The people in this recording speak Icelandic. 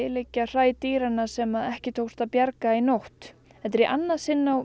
liggja hræ dýranna sem ekki tókst að bjarga í nótt þetta er í annað sinn á